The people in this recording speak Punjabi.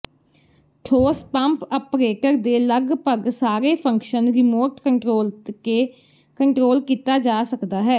ਠੋਸ ਪੰਪ ਆਪਰੇਟਰ ਦੇ ਲਗਭਗ ਸਾਰੇ ਫੰਕਸ਼ਨ ਰਿਮੋਟ ਕੰਟਰੋਲ ਕੇ ਕੰਟਰੋਲ ਕੀਤਾ ਜਾ ਸਕਦਾ ਹੈ